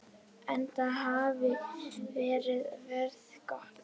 Enda hafi veðrið verið gott.